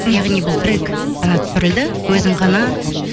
яғни бұл трек ғана түсірілді өзің ғана